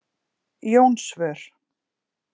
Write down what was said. Jónsvör